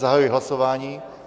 Zahajuji hlasování.